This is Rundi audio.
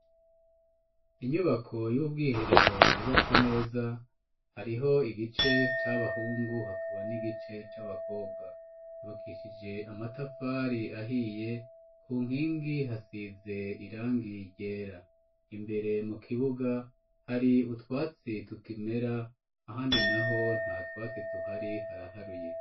Inyubako y'ubwiherero yubatse neza, hariho igice c'abahungu hakaba n'igice c'abakobwa, Yubakishije amatafari ahiye, ku nkingi hasize irangi ryera. Imbere mu kibuga, hari utwatsi tukimera ahandi naho nta twatsi tuhari haraharuye.